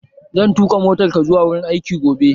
Zan tuƙa motar ka zuwa wurin aiki gobe